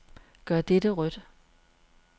Gør dette rødt.